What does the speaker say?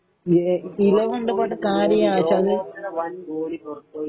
ഇലവ ഉണ്ട് പോട്ടെ കാര്യമില്ല പക്ഷേ ഇത്